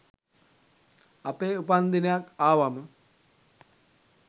අපේ උපන් දිනයක් ආවම